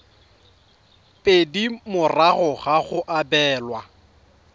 pedi morago ga go abelwa